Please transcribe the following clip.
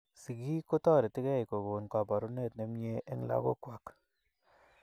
Sigiik kotoretigei kokoon kabarunet ne mie eng lagook kwai.